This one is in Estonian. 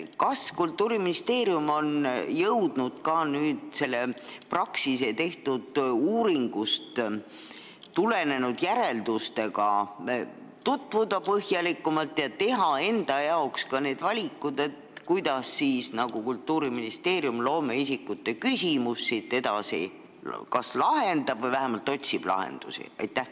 Kas Kultuuriministeerium on jõudnud Praxise uuringu järeldustega põhjalikumalt tutvuda ja langetada valikud, kuidas Kultuuriministeerium loomeisikute küsimust edasi lahendab või vähemalt otsib lahendusi?